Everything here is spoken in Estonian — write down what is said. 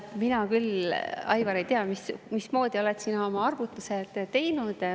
Mina küll, Aivar, ei tea, mismoodi oled sina oma arvutused teinud.